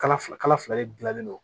Kala fila de gilannen don